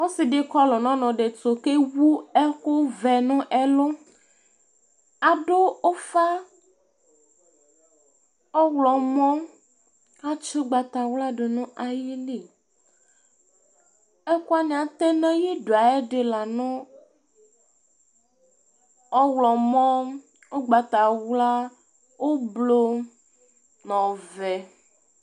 Ɔsi di kɔlu nu ɔnu di tʊ ké wu ɛku ʋɛ nɛ ɛlu Adu ufa ɔwlɔmɔ, atsi ugbata wla dunu ayili Ɛkuwani atɛ na ayidué ayɛ di la nu ɔwlɔmɔ, ugbata wla, ublu nɔ ɔʋɛ